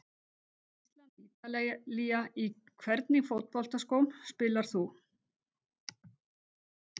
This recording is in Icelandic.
ísland- ítalía Í hvernig fótboltaskóm spilar þú?